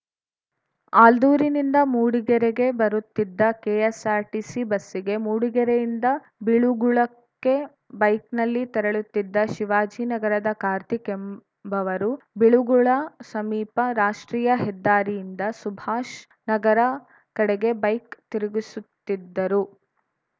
ಆಲ್ದೂರಿನಿಂದ ಮೂಡಿಗೆರೆಗೆ ಬರುತ್ತಿದ್ದ ಕೆಎಸ್‌ಆರ್‌ಟಿಸಿ ಬಸ್ಸಿಗೆ ಮೂಡಿಗೆರೆಯಿಂದ ಬಿಳುಗುಳಕ್ಕೆ ಬೈಕ್ ನಲ್ಲಿ ತೆರಳುತ್ತಿದ್ದ ಶಿವಾಜಿ ನಗರದ ಕಾರ್ತಿಕ್‌ ಎಂಬವರು ಬಿಳುಗುಳ ಸಮೀಪ ರಾಷ್ಟ್ರೀಯ ಹೆದ್ದಾರಿಯಿಂದ ಸುಭಾಷ್‌ ನಗರ ಕಡೆಗೆ ಬೈಕ್‌ ತಿರುಗಿಸುತ್ತಿದ್ದರು